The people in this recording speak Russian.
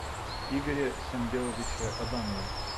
игоре самвеловиче адамове